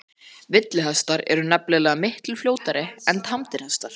Villihestar eru nefnilega miklu fljótari en tamdir hestar.